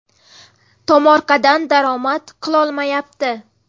Tomorqadan daromad qilolmayapti.